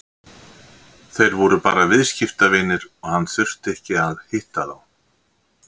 Þeir voru bara viðskiptavinir og hann þurfti ekki að hitta þá.